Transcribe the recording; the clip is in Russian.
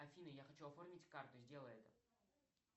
афина я хочу оформить карту сделай это